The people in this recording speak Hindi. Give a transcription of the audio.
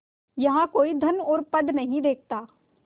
यहाँ कोई धन और पद नहीं देखता